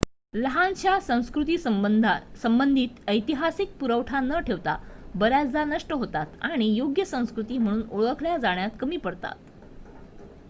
लहानशा संस्कृती संबंधित ऐतिहासिक पुरावा न ठेवता बऱ्याचदा नष्ट होतात आणि योग्य संस्कृती म्हणून ओळखल्या जाण्यात कमी पडतात